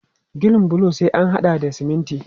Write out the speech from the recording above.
Ginin bulo sai an haɗa da siminti.